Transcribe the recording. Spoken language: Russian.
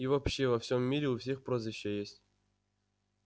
и вообще во всём мире у всех прозвища есть